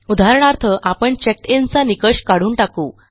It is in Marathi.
उदाहरणार्थ आपण चेक्ड इन चा निकष काढून टाकू